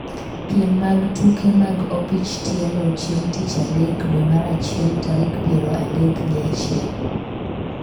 piem mag tuke mag opich tielo chieng' tich adek dwe mar achiel tarik piero adek gi achiel